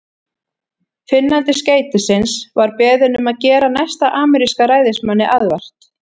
Finnandi skeytisins var beðinn um að gera næsta ameríska ræðismanni aðvart.